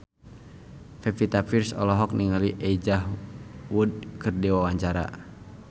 Pevita Pearce olohok ningali Elijah Wood keur diwawancara